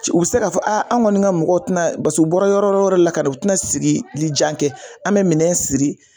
U bi se k'a fɔ an kɔni ka mɔgɔw tina u bɔra yɔrɔ wɛrɛ de la kana, u tina sigilijan kɛ an bɛ minɛn siri